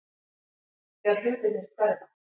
Þegar hlutirnir hverfa